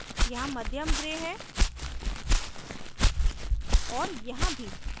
यहाँ मध्यम gray है और यहाँ भी